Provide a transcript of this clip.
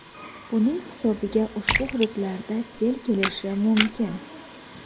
buning hisobiga ushbu hududlarda sel kelishi mumkin.